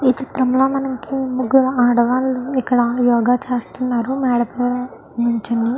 ఈ చిత్రం లో మనకి ముగ్గురు ఆడవాళ్లు ఇక్క్కడ యోగ చేస్తున్నారు మేడ మేధా నిల్చొని.